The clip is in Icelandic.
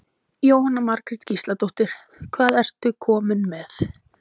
Jóhanna Margrét Gísladóttir: Hvað ertu kominn með?